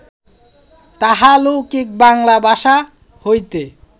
তাহা লৌকিক বাঙ্গালা ভাষা হইতে